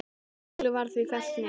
Málið var því fellt niður.